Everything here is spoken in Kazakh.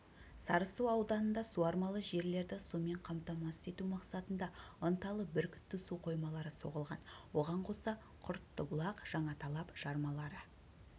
сарысу ауданында суармалы жерлерді сумен қамтамасыз ету мақсатында ынталы бүркітті су қоймалары соғылған оған қоса құрттыбұлақ жаңаталап жармалары